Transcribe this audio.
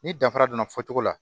Ni danfara donna fɔcogo la